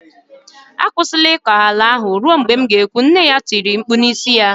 "Akwụsịla ịkọ ala ahụ ruo mgbe m kwuru etu ahụ, nne ya etie ya mkpu n'isi.